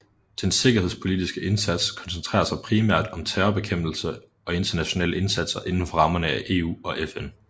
Den sikkerhedspolitiske indsats koncentrerer sig primært om terrorbekæmpelse og internationale indsatser inden for rammerne af EU og FN